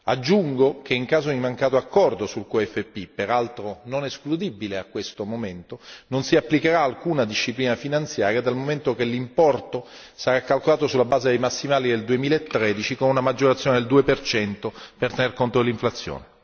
Aggiungo, che in caso di mancato accordo sul QFP, peraltro non escludibile a questo momento, non si applicherà alcuna disciplina finanziaria, dal momento che l'importo sarà calcolato sulla base dei massimali del 2013 con una maggiorazione del 2 per tener conto dell'inflazione.